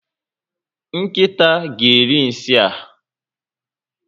Nkịta ga eri nsị a